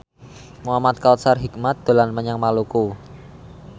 Muhamad Kautsar Hikmat dolan menyang Maluku